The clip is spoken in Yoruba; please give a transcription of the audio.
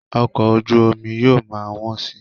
Ọkọ̀ ojú omi yóò ma wọ́n si